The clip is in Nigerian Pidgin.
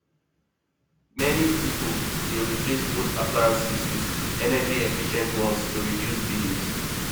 many pipo dey replace old appliances with energyefficient ones to reduce bills